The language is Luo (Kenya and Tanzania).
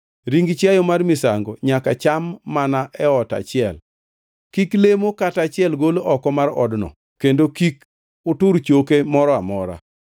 “Ring chiayo mar misango nyaka cham mana e ot achiel, kik lemo kata achiel gol oko mar odno kendo kik utur choke moro amora.